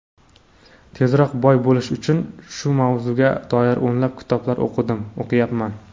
tezroq boy bo‘lish uchun shu mavzuga doir o‘nlab kitoblar o‘qidim, o‘qiyapman.